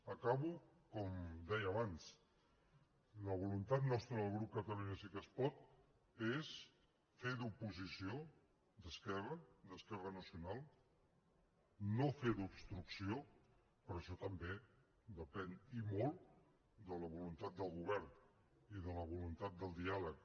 acabo com deia abans la voluntat nostra del grup catalunya sí que es pot és fer d’oposició d’esquerra d’esquerra nacional no fer d’obstrucció però això també depèn i molt de la voluntat del govern i de la voluntat de diàleg